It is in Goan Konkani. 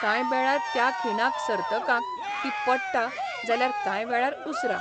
कांय बेळार त्या खिणाक सर्तकांक ती पट्टा जाल्यार कांय वेळार उसरा.